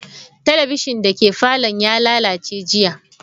Talabishin dake falon ya lalace jiya.